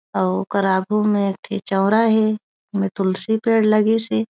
अउ ओखर आगू मा एक ठी चौरा हे ओमा तुलसी पेड़ लगिस हे।